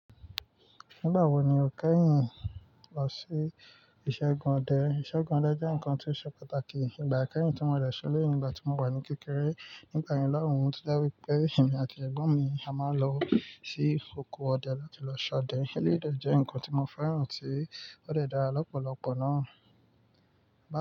Nígbà wo ni o kẹ́yìn lọ sí ìṣẹ́gun ọdẹ? Ìṣẹ́gun ọdẹ jẹ́ nǹkan tí ó ṣe pàtàkì nígbà akẹ́yìn tí mo de se sílé nígbà tí mo wà ní kékeré. Nígbà yen lòhun to jẹ́ wípé èmi àti ẹ̀gbọ́n mi a máa ń lọ sí oko ọdẹ láti lọ ṣọdẹ. Eléyi dẹ́ je nǹkan tí mo féràn tí ó dẹ̀ dara lọ́pọ̀lọpọ̀ náà. Bá.